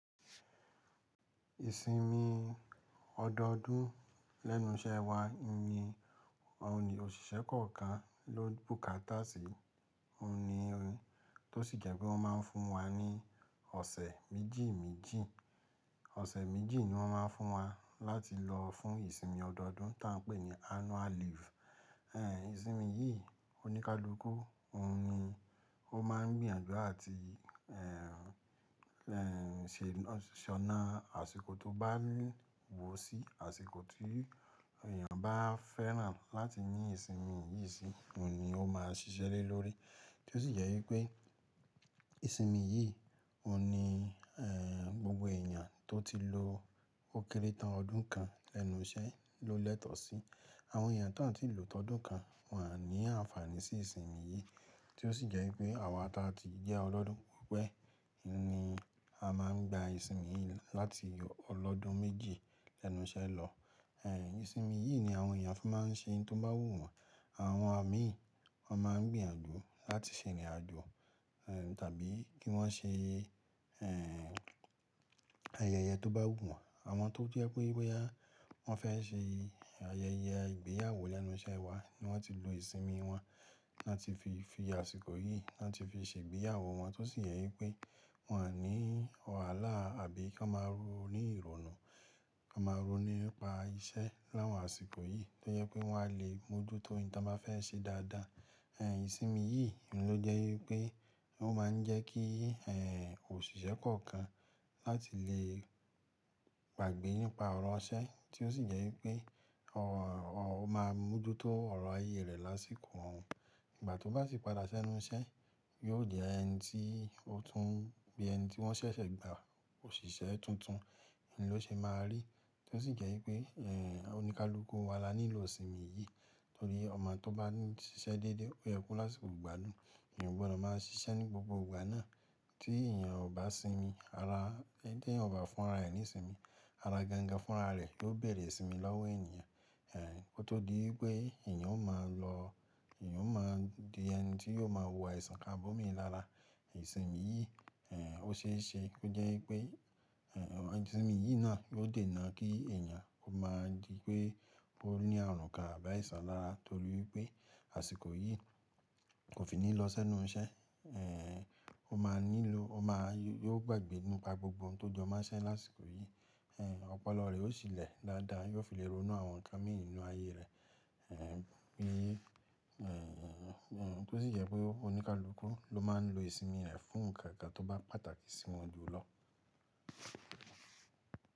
Ìsinmi ọdọọdún lẹ́nu iṣẹ́ wa ni òṣìṣẹ́ kọ̀ọ̀kan ló bùkátà sí. Ó ní ohun tó sì jẹ́ pé wọ́n máa ń fún wa ní ọ̀sẹ̀ méjì méjì. Ọ̀sẹ̀ méjì ni wọ́n máa ń fún wa láti lọ fún ìsinmi ọdọọdún tí a ń pè ní annual leave. Ẹ̀yin ìsinmi yìí oníkálukú, ó ní ó máa ń gbìyànjú àti, ẹ̀, ṣe ọ̀nà àsìkò tó bá wù sí, àsìkò tí èèyàn bá fẹ́ràn láti ní ìsinmi yìí sí, òun ni ó máa ṣiṣẹ́ lórí. Tí ó sì jẹ́ wípé ìsinmi yìí ò ní, gbogbo èèyàn tó ti lo ókéré tán ọdún kan lẹ́nu iṣẹ́ ló lẹ́tọ̀ọ́ sí. Àwọn èèyàn tó ń sì lò tọ́dún kan wọn ní àǹfààní sí ìsinmi yìí. Tí ó sì jẹ́ wípé àwa tí a ti jẹ́ ọlọ́dún pìpẹ́ ni a máa ń gba ìsinmi yìí láti ọlọ́dún méjì lẹ́nu iṣẹ́ lọ. Ẹ̀yin ìsinmi yìí ni àwọn èèyàn fún máa ń ṣe ohun tó bá wù wọ́n. Àwọn àmì wọ́n máa ń gbìyànjú láti ṣe ìrìnàjò, tàbí kí wọ́n ṣe, ayẹyẹ tó bá wù wọ́n. Àwọn tó jẹ́ pé wípé bóyá wọ́n fẹ́ ṣe ayẹyẹ ìgbéyàwó lẹ́nu iṣẹ́ wa ni wọ́n ti lo ìsinmi wọn láti fi fi àsìkò yìí láti fi ṣe ìgbéyàwó wọn tó sì jẹ́ wípé wọn ní wàhálà àbí kon máa ro ní ìrònú, kon máa ro nípa iṣẹ́ láwọn àsìkò yìí tó jẹ́ pé wọn a lè mójútó ìtíwọ́n báa fẹ́ ṣe dáadáa. Ẹ̀yin ìsinmi yìí ló jẹ́ wípé ó máa ń jẹ́ kí, òṣìṣẹ́ kọ̀ọ̀kan láti lè gbàgbé nípa ọ̀rọ̀ ọṣẹ́ tí ó sì jẹ́ wípé ó máa mójútó ọ̀rọ̀ ayé rẹ̀ lásìkò wọn. Ìgbà tó bá sì padà sẹ́nu iṣẹ́ yóò jẹ́ ẹni tí ó tún bí ẹni tí wọ́n ṣẹ̀ṣẹ̀ gba òṣìṣẹ́ tuntun ni ló ṣe máa rí. Tí ó sì jẹ́ wípé, oníkálukú wa la nílò ìsinmi yìí torí ọmọ tó bá ń ṣiṣẹ́ dédé ó yẹ kó lásìkò gbádùn. Ẹ̀yàn gbọ́dọ̀ máa ṣiṣẹ́ ní gbogbo ìgbà náà tí èèyàn ò bá sinmi ara, tí èèyàn ò bá fúnra ẹni sinmi ara gangan fúnra rẹ̀ yó bẹ̀rẹ̀ sinmi lọ́wọ́ ènìyàn. Ẹ̀, kó tó dí wípé èèyàn ó máa lọ, èèyàn ó máa di ẹni tí yóò máa wọ àìsàn kan bómi lára. Ìsinmi yìí, ẹ́, ó ṣe é ṣe kó jẹ́ wípé, ẹ́, àwọn ìsinmi yìí náà yóò dènà kí èèyàn ó máa di pé ó ní àrùn káà rùn bà àìsàn lára torí wípé àsìkò yìí kò fi ní lọ sẹ́nu iṣẹ́. Ẹ̀, ó máa nílò, ó máa yóò gbàgbé nípa gbogbo ohun tó jọmọ́ṣẹ́ lásìkò yìí. Ẹ̀, ọpọlọ rẹ̀ ó sì lè dáadáa, yóò fi léròó náà àwọn nǹkan míì ninú ayé rẹ̀. Ẹ̀, bí, ẹ́, ẹ́, ẹ́, tí ó sì jẹ́ pé oníkálukú ló máa ń lo ìsinmi rẹ̀ fún nǹkan kan tó bá pàtàkì sí wọn jù lọ.